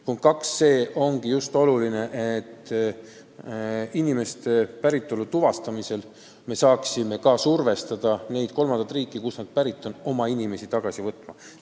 Punkt kaks: oluline on just see, et inimeste päritolu tuvastamisel me saaksime survestada kolmandaid riike oma inimesi tagasi võtma.